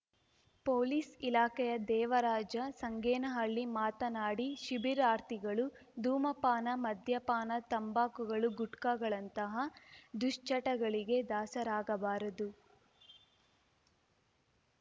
police ಇಲಾಖೆಯ ದೇವರಾಜ ಸಂಗೇನಹಳ್ಳಿ ಮಾತನಾಡಿ ಶಿಬಿರಾರ್ಥಿಗಳು ಧೂಮಪಾನ ಮದ್ಯಪಾನ ತಂಬಾಕುಗಳುಗುಟ್ಕಾಗಳಂತಹ ದುಶ್ಚಟಗಳಿಗೆ ದಾಸರಾಗಬಾರದು